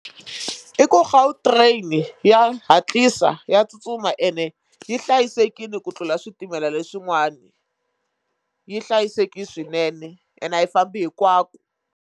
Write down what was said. I ku Gautrain ya hatlisa ya tsutsuma ene yi hlayisekile ku tlula switimela leswin'wana yi hlayisekile swinene ene a yi fambi hinkwaku.